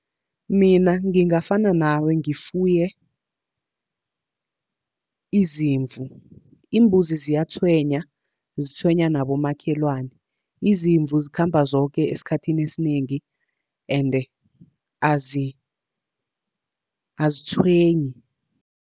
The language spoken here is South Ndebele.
Mina ngingafana nawe ngifuye izimvu. Iimbuzi ziyatshwenya, zitshwenya nabomakhelwana. Izimvu zikhamba zoke esikhathini esinengi ende azitshwenyi.